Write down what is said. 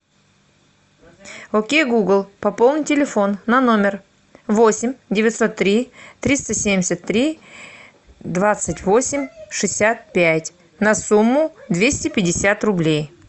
окей гугл пополни телефон на номер восемь девятьсот три триста семьдесят три двадцать восемь шестьдесят пять на сумму двести пятьдесят рублей